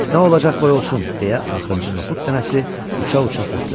Nə olacaq, qoy olsun, deyə axırıncı noxud dənəsi uça-uça səsləndi.